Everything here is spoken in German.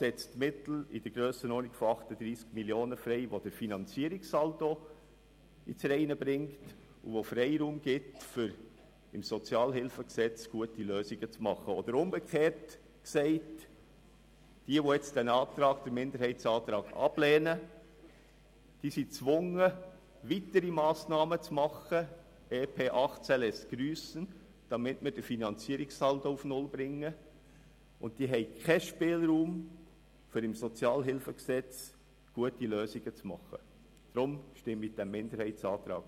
Wichtig scheint mir, dass diejenigen, die den Fokus ausschliesslich auf den interkantonalen Steuerwettbewerb und auf die Konkurrenzfähigkeit richten, in Kauf nehmen, dass wir innerkantonal einen Scherbenhaufen produzieren.